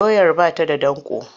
Doyar ba ta da danƙo.